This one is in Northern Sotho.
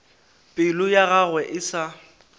pelo ya gagwe e sa